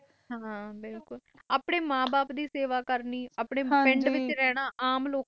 ਹੈ ਬਿਲਕੁਲ, ਆਪਣੇ ਮੈ ਬਾਪ ਦੀ ਸੇਵਾ ਕਰਨੀ ਆਪਣੇ ਪਿੰਡ ਵਿਚ ਰਹਿਣਾ ਆਮ ਲੋਕ ਤਾਰਾ